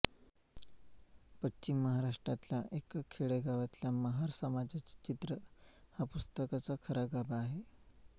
पश्चिम महाराष्ट्रातल्या एका खेडेगावातल्या महार समाजाचे चित्र हा पुस्तकाचा खरा गाभा आहे